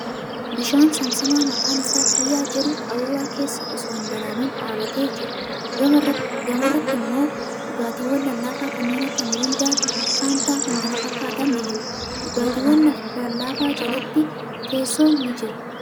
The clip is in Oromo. Bishaan saamsamaa maqaan isaa kiyyaa jedhu qaruuraa keessa osoo hin banamin dhaabatee jira. Gama irraatti immoo dhugaaatiiwwan lallaafaa kanneen akka mirindaa, fantaa fi kan kana fakkaatan ni jiru. Dhugaatiiwwan lallaafaa jalatti teessoon jira.